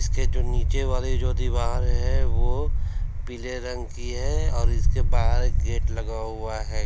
इसके जो नीचे वाली जो दीवार है वो पीले रंग की है और इसके बाहर गेट लगा हुआ है।